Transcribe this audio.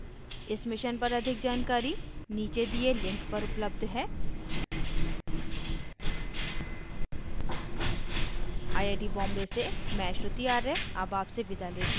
इस mission पर अधिक जानकरी नीचे दिए link पर उपलब्ध है